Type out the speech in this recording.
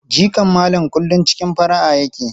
Jikan Malam kullum cikin fara'a yake.